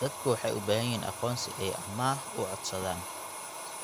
Dadku waxay u baahan yihiin aqoonsi si ay amaah u codsadaan.